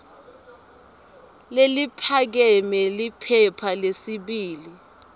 leliphakeme liphepha lesibili